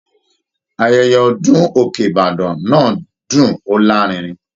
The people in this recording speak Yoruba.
Ayẹyẹ ọdun òkè ìbàdàn náà dún o larinrin.